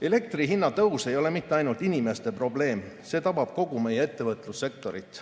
Elektri hinna tõus ei ole mitte ainult inimeste probleem, see tabab kogu meie ettevõtlussektorit.